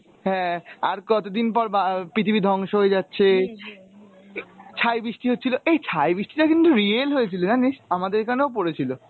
হ্যাঁ আর কতদিন পর বা~ পৃথিবী ধ্বংস হয়ে যাচ্ছে , এই ছাই বৃষ্টি হচ্ছিলো এই ছাই বৃষ্টি টা কিন্তু real হয়েছিল জানিস, আমাদের এখানেও পরেছিল।